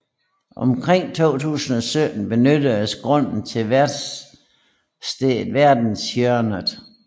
Omkring 2017 benyttedes grunden til værestedet Verdenshjørnet